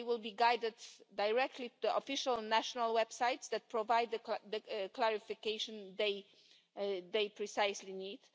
They will be guided directly to official national websites that provide the precise clarification that they need.